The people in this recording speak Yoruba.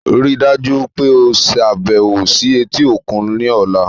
Rii daju pe o ṣabẹwo si eti okun ni ọla